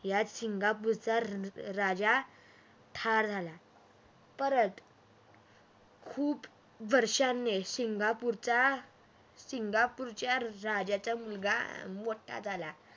यात सिंगापूरचा रा राजा ठार झाला परत खूप वर्षांनी सिंगापूरच्या सिंगापूरच्या राजाचा मुलगा मोठा झाला